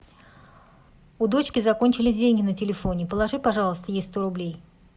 у дочки закончились деньги на телефоне положи пожалуйста ей сто рублей